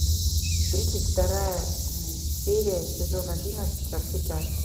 тридцать вторая серия сезон одиннадцать во все тяжкие